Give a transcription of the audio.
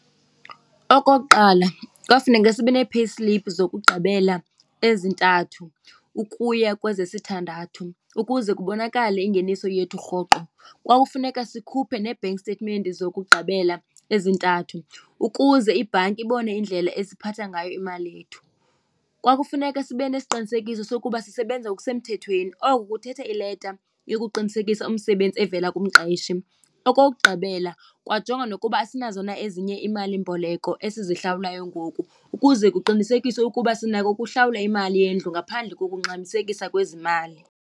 Okokuqala kwafuneka sibe nee-payslip zokugqibela ezintathu ukuya kwezesithandathu ukuze kubonakale ingeniso yethu rhoqo. Kwakufuneka sikhuphe nee-bank statement zokugqibela ezintathu ukuze ibhanki ibone indlela esiphatha ngayo imali yethu. Kwakufuneka sibe nesiqinisekiso sokuba sisebenza ngokusemthethweni oku kuthetha ileta yokuqinisekisa umsebenzi evela kumqeshi. Okokugqibela kwanjongwa nokuba asinazo na ezinye iimalimboleko esizilawulayo ngoku ukuze kuqinisekiswe ukuba sinako kuhlawula imali yendlu ngaphandle kokungxamisekisa kwezi mali.